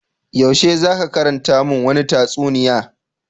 Yaushe za ka karanta mun wani tatsuniya.